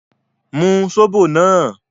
Mú sóbò náà!